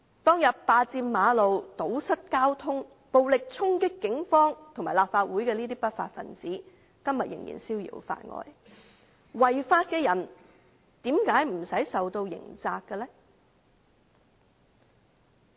當天佔據道路、堵塞交通、暴力衝擊警方和立法會的不法分子今天仍然逍遙法外，違法的人為何不用負上刑責的呢？